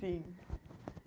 Sim.